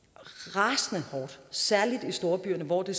rasende hårdt særlig i storbyerne hvor det